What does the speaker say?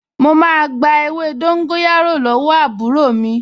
Mo máa gba ewé dóńgóyárò lọ́wọ́ àbúrò mi